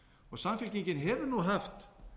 og samfylkingin hefur haft